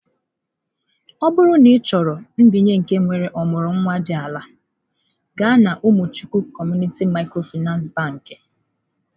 Ọ bụrụ na ị chọrọ mbinye nke nwere ọmụrụ nwa dị ala, gaa na umuchukwu Community micro Finance bakị.